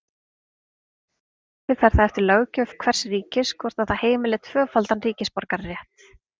Að sama skapi fer það eftir löggjöf hvers ríkis hvort það heimili tvöfaldan ríkisborgararétt.